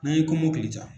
N'an ye kɔmɔkili ja